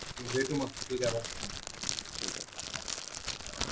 भेटू मग ठीक आहे बाय